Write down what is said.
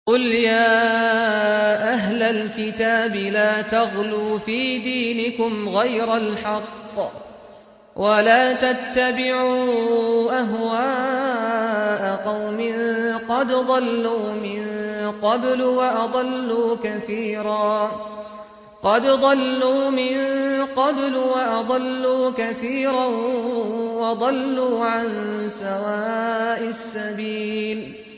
قُلْ يَا أَهْلَ الْكِتَابِ لَا تَغْلُوا فِي دِينِكُمْ غَيْرَ الْحَقِّ وَلَا تَتَّبِعُوا أَهْوَاءَ قَوْمٍ قَدْ ضَلُّوا مِن قَبْلُ وَأَضَلُّوا كَثِيرًا وَضَلُّوا عَن سَوَاءِ السَّبِيلِ